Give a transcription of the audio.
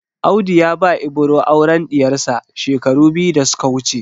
Audu ya ba Ibro auren ɗiyarsa shekaru biyu da suka wuce.